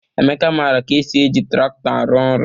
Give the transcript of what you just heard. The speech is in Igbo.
Emeka mara ka esi eji traktọ arụ-ọrụ